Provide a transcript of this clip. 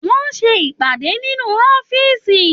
Wọn n ṣe ìpàdé nínú ọ̀fiísí.